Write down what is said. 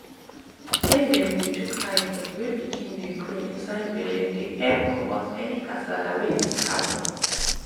wen dem dey chook eye for the way pikin dey grow inside belle dey epp commot any kasala wey fit happens